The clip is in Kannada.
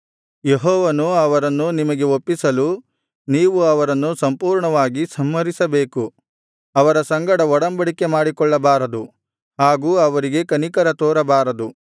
ಯೆಹೋವನು ಅವರನ್ನು ನಿಮಗೆ ಒಪ್ಪಿಸಲು ನೀವು ಅವರನ್ನು ಸಂಪೂರ್ಣವಾಗಿ ಸಂಹರಿಸಬೇಕು ಅವರ ಸಂಗಡ ಒಡಂಬಡಿಕೆ ಮಾಡಿಕೊಳ್ಳಬಾರದು ಹಾಗು ಅವರಿಗೆ ಕನಿಕರ ತೋರಬಾರದು